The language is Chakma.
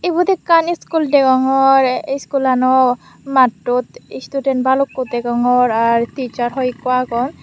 ubot ekkan iskul degongor ey iskulano mattot student balukko degongor ar teacher hoyekko agon.